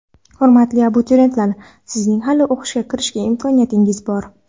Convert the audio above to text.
Hurmatli abituriyentlar, sizning hali o‘qishga kirish imkoniyatingiz bor!.